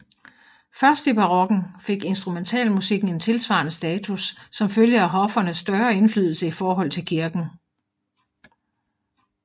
Først i barokken fik instrumentalmusikken en tilsvarende status som følge af hoffernes større indflydelse i forhold til kirken